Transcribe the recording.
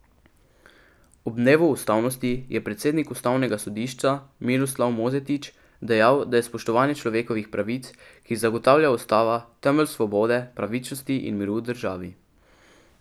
Ob dnevu ustavnosti je predsednik ustavnega sodišča Miroslav Mozetič dejal, da je spoštovanje človekovih pravic, ki jih zagotavlja ustava, temelj svobode, pravičnosti in miru v državi.